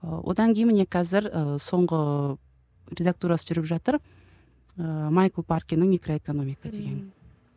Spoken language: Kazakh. ы одан кейін міне қазір ы соңғы редактурасы жүріп жатыр ыыы майкл паркиннің микроэкономика деген мхм